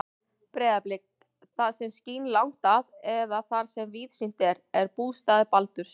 Breiðablik, það sem skín langt að eða þar sem víðsýnt er, er bústaður Baldurs.